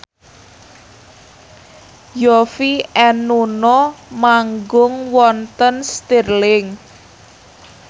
Yovie and Nuno manggung wonten Stirling